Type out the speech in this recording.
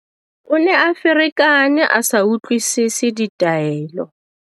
O ne a ferekane a sa utlwisese ditaelo.